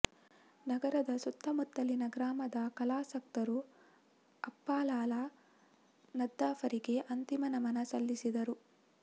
ನಗರದ ಸುತ್ತಮುತ್ತಲಿನ ಗ್ರಾಮದ ಕಲಾಸಕ್ತರು ಅಪ್ಪಾಲಾಲ ನದ್ಧಾಫರಿಗೆ ಅಂತಿಮ ನಮನ ಸಲ್ಲಿಸಿದರು